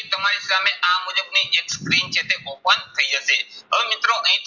એક screen જે છે open થઇ જશે. હવે મિત્રો અહીં